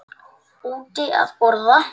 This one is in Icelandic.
Úti að borða.